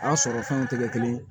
A sɔrɔ fɛnw tɛ kɛ kelen ye